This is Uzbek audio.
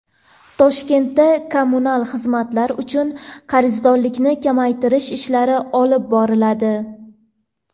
Toshkentda kommunal xizmatlar uchun qarzdorlikni kamaytirish ishlari olib boriladi.